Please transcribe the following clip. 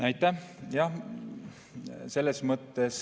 Aitäh!